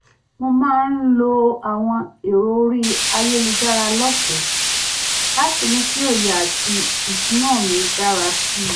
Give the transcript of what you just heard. mo máa ń lo àwọn èrò orí ayélujára lọ́fẹ̀ẹ́ láti mú kí òye àti ìsúná mi dára sí i